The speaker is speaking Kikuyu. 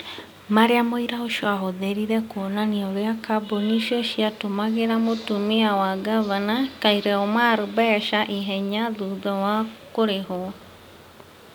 marĩa mũira ũcio aahũthĩrire kuonania ũrĩa kambuni icio ciatũmagĩra mũtumia wa ngavana, Khaire Omar, mbeca ihenya thutha wa kũrĩhwo.